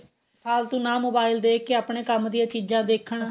ਫਾਲਤੂ ਨਾ mobile ਦੇਖ ਕੇ ਆਪਣੇ ਕੰਮ ਦੀਆ ਚੀਜ਼ਾ ਦੇਖਣ